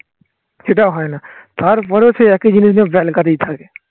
সেটাও হয় না তারপরেও সেই একই জিনিস নিয়ে থাকে